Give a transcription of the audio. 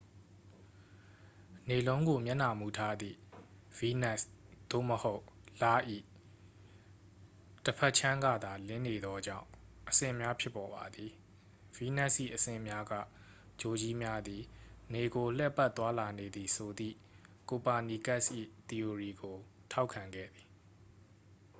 နေလုံးကို မျက်နှာမူထားသည့် ဗီးနပ်စ် သို့မဟုတ် လ၏ ၏ တစ်ဖက်ခြမ်းကသာ လင်းနေသောကြောင့် အဆင့်များ ဖြစ်ပေါ်ပါသည်။ ဗီးနပ်စ်၏ အဆင့်များက ဂြိုလ်ကြီးများသည် နေကို လှည့်ပတ် သွားလာနေသည်ဆိုသည့် ကိုပါနီကက်စ်၏ သီအိုရီကို ထောက်ခံခဲ့သည်။